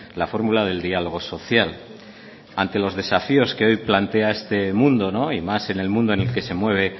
la fórmula del diálogo social ante los desafíos que hoy plantea este mundo y más en el mundo en el que se mueve